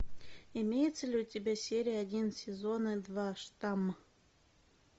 имеется ли у тебя серия один сезона два штамм